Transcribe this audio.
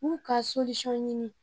K'u ka ɲini.